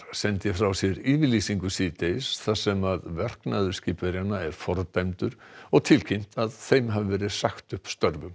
sendi frá sér yfirlýsingu síðdegis þar sem verknaður skipverjanna er fordæmdur og tilkynnt að þeim hafi verið sagt upp störfum